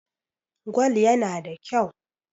Gwal yana da kyau.